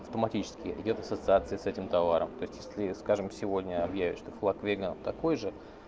автоматически идёт ассоциация с этим товаром то есть если скажем сегодня объявят что флаг вега такой же